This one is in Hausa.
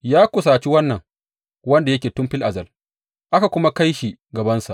Ya kusaci Wannan wanda yake Tun fil azal aka kuma kai shi gabansa.